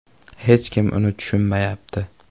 Hech kim uni tushunmayapti.